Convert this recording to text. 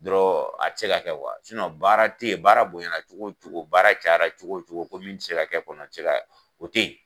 dɔrɔn a tɛ se ka kɛ baara tɛ ye baara bonya cogo cogo baara cayara cogo cogo ko min tɛ se kɛ kɔni o tɛ ye.